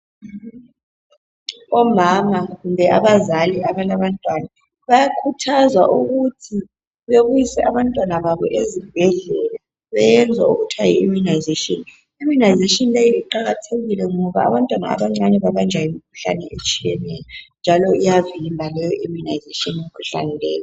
Omama, kumbe abazali abalabantwana bayakhuthazwa ukuthi bebise abantwana babo ezibhedlela beyenzwe okuthiwa yi imunayizeshini. Imunayizeshini leyi iqakathekile ngoba abantwana abancane babanjwa yimkhuhlane etshiyeneyo. Njalo iyavimba leyo imunayizeshini imikhuhlane leyi.